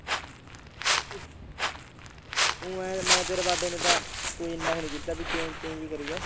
ਊਂ ਇਉਂ ਮੈਂ ਤੇਰੇ ਕੋਈ ਇੰਨਾ ਉਹ ਨੀ ਕੀਤਾ ਵੀ change change ਹੀ ਕਰੀ ਗਿਆ।